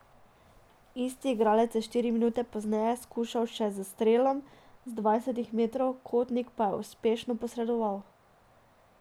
Isti igralec je štiri minute pozneje skušal še s strelom z dvanajstih metrov, Kotnik pa je uspešno posredoval.